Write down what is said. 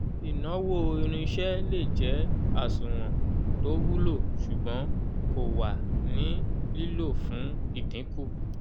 ìnáwó irinṣẹ́ lè jẹ́ àsùnwọ̀n tó wulo ṣùgbọ́n kò wà ní lílò fún ìdínkù